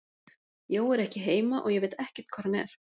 Jói er ekki heima og ég veit ekkert hvar hann er.